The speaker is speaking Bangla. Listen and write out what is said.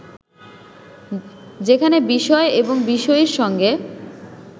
যেখানে বিষয় এবং বিষয়ীর সঙ্গে